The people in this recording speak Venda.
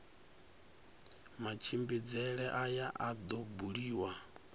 matshimbidzele aya a do buliwa